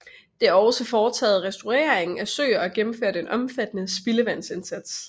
Det er også foretaget restaurering af søer og gennemført en omfattende spildevandsindsats